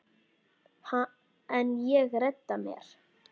En ég redda mér.